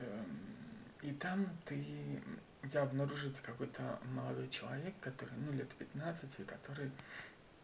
и там ты у тебя обнаружится какой-то молодой человек который ну лет пятнадцати который